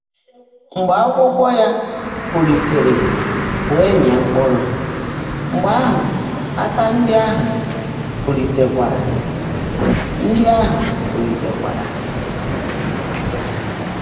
Mgbe ákwụ́kwọ́ yá púlíteèrè weèé mị́á mkpụ́rụ́, mgbe áhụ́ átà ndị́ áhụ́ púlíteèkwáárá. ndị́ áhụ́ púlíteèkwáárá.